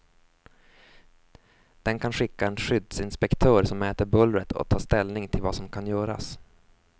Den kan skicka en skyddsinspektör som mäter bullret och tar ställning till vad som kan göras.